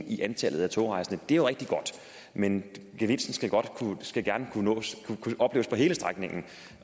i antallet af togrejsende det er jo rigtig godt men gevinsten skal gerne kunne opleves på hele strækningen